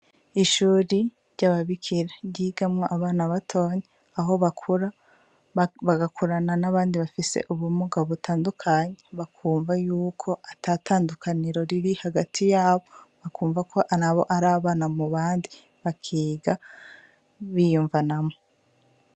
Ishure ry'ababikira ryigamwo abana batoyi aho bakura bagakurana n'abandi bafise ubumuga butandukanye bakumva yuko atatandukaniro ririhagati yabo bakumvako ari abana mubandi bakiga biyumvanamwo